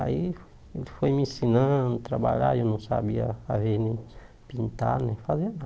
Aí ele foi me ensinando a trabalhar, e eu não sabia fazer, nem pintar, nem fazer nada.